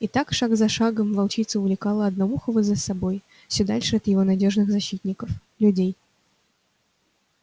и так шаг за шагом волчица увлекала одноухого за собой всё дальше от его надёжных защитников людей